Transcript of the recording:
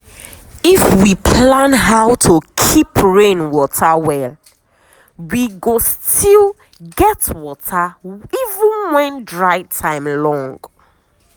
if we plan how to keep rain water well we go still get water even when dry time long.